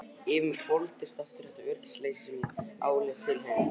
Yfir mig hvolfdist aftur þetta öryggisleysi sem ég áleit að tilheyrði fortíðinni.